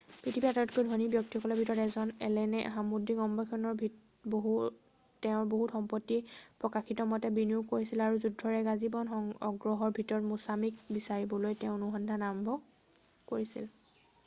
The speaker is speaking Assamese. পৃথিৱীৰ আটাইতকৈ ধনী ব্যক্তিসকলৰ ভিতৰত এজন এলেনে সামুদ্ৰিক অন্বেষণত তেওঁৰ বহুত সম্পত্তি প্ৰকাশিতমতে বিনিয়োগ কৰিছিল আৰু যুদ্ধত এক আজীৱন আগ্ৰহৰ ভিতৰত মুছাছিক বিচাৰিবলৈ তেওঁ অনুসন্ধান কৰিবলৈ আৰম্ভ কৰিছিল৷